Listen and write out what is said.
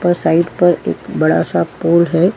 और साइड पर एक बड़ा स पोल है।